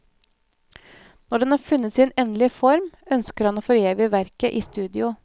Når den har funnet sin endelige form, ønsker han å forevige verket i studio.